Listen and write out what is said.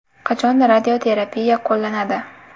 Qachon radioterapiya qo‘llanadi?